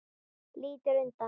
Lítur undan.